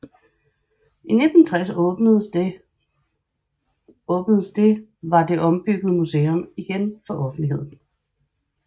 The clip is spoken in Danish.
I 1960 åbnede det var det ombyggede museum igen for offentligheden